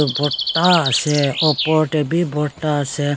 borta ase opor tae bi borta ase.